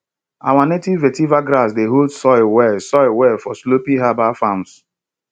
our native vetiver grass dey hold soil well soil well for sloped herbal farms